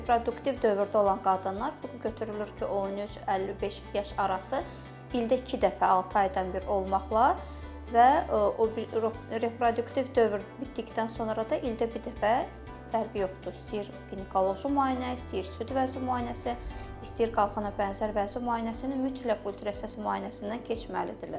Reproduktiv dövrdə olan qadınlar bu gün götürülür ki, 13-55 yaş arası ildə iki dəfə altı aydan bir olmaqla və reproduktiv dövr bitdikdən sonra da ildə bir dəfə fərqi yoxdur, istəyir ginekoloji müayinə, istəyir süd vəzi müayinəsi, istəyir qalxana bənzər vəzi müayinəsini mütləq ultrasəs müayinəsindən keçməlidirlər.